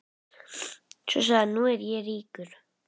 Svo sagði hann: Nú er ég ríkur.